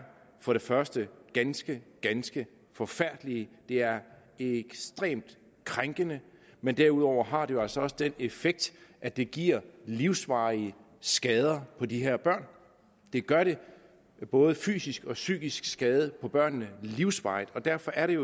for det første ganske ganske forfærdelige det er ekstremt krænkende men derudover har det jo altså også den effekt at det giver livsvarige skader på de her børn det gør både fysisk og psykisk skade på børnene livsvarigt og derfor er det